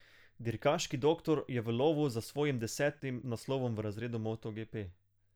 Dirkaški Doktor je v lovu za svojim desetim naslovom v razredu motoGP.